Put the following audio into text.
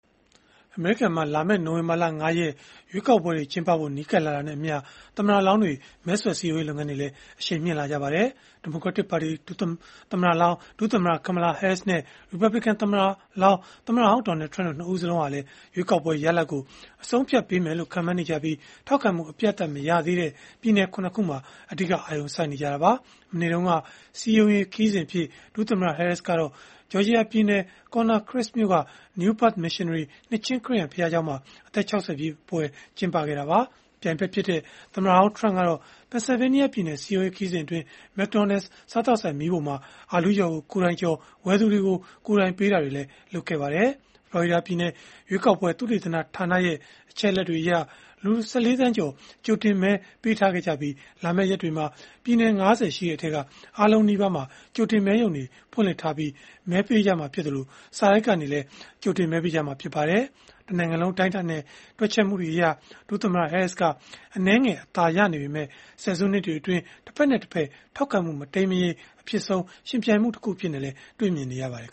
အမေရိကန်မှာ လာမယ့် နိုဝင်ဘာလ ၅ ရက်နေ့ ရွေးကောက်ပွဲ ကျင်းပဖို့ နီးကပ်လာတာနဲ့အမျှ သမ္မတလောင်းတွေ မဲဆွယ်စည်းရုံးရေး လုပ်ငန်းတွေလည်း အရှိန်မြှင့်လာကြပါတယ်။ ဒီမိုကရက်တစ်ပါတီ သမ္မတလောင်း ဒုသမ္မတ Kamala Harris နဲ့ ရီပတ်ဘလစ်ကန်သမ္မတလောင်း သမ္မတဟောင်း Donald Trump တို့ ၂ ဦးစလုံးဟာလည်း ရွေးကောက်ပွဲရလဒ်ကို အဆုံးအဖြတ်ပေးမယ်လို့ ခန့်မှန်းနေကြပြီး ထောက်ခံမှုအပြတ်အသတ်မရသေးတဲ့ ပြည်နယ် ၇ ခုမှာ အဓိက အာရုံစိုက်နေကြတာပါ။ မနေ့တုန်းက စည်းရုံးရေးခရီးစဉ်အဖြစ် ဒုသမ္မတ Harris က Georgia ပြည်နယ် Stonecrest မြို့က New Birth Missionary နှစ်ခြင်းခရစ်ယာန်ဘုရားကျောင်းမှာ အသက် ၆၀ ပြည့် ပွဲကျင်းပခဲ့တာပါ။ ပြိုင်ဘက်ဖြစ်တဲ့ သမ္မတဟောင်း Trump ကတော့ Pennsylvania ပြည်နယ် စည်းရုံးရေးခရီးစဉ်အတွင်း McDonald’s စားသောက်ဆိုင် မီးဖိုမှာ အာလူးကြော်ကို ကိုယ်တိုင်ကြော်၊ ဝယ်သူတွေကို ကိုယ်တိုင်ပေးတာတွေ လုပ်ခဲ့ပါတယ်။ ဖလော်ရီဒါပြည်နယ် ရွေးကောက်ပွဲသုတေသနဌာနရဲ့ အချက်အလက်တွေအရ လူ ၁၄ သန်းကျော် ကြိုတင်မဲပေးခဲ့ကြပြီး၊ လာမယ့်ရက်တွေမှာ ပြည်နယ် ၅၀ ရှိတဲ့အထဲက အားလုံးနီးပါးမှာ ကြိုတင်မဲရုံတွေ ဖွင့်လှစ်ထားပြီး မဲပေးကြမှာဖြစ်သလို၊ စာတိုက်ကနေလည်း ကြိုတင်မဲပေးကြမှာ ဖြစ်ပါတယ်။ တနိုင်ငံလုံး အတိုင်းအတာနဲ့ တွက်ချက်မှုတွေအရ ဒုသမ္မတ Harris က အနည်းငယ် အသာရနေပေမဲ့ ဆယ်စုနှစ်တွေအတွင်း တဖက်နဲ့တဖက် ထောက်ခံမှု မတိမ်းမယိမ်း အဖြစ်ဆုံး ယှဉ်ပြိုင်မှုတခုအဖြစ်နဲ့လည်း တွေ့ရပါတယ်။